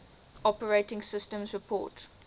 operating systems report